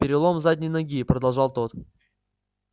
перелом задней ноги продолжал тот